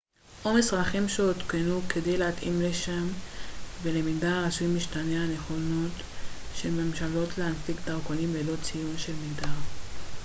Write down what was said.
הנכונות של ממשלות להנפיק דרכונים ללא ציון של מגדר x או מסמכים שעודכנו כדי להתאים לשם ולמגדר הרצוי משתנה